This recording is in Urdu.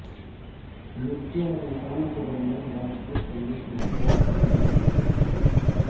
مرچوں اور انسانوں کے درمیان بات چیت کرنے کی حوصلہ افزائی نہیں کی گئی